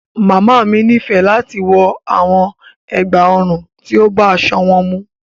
Máamì ní fẹ̀ láti wọ awọn ègbá-ọ̀run tí ó bá aṣọ múnnì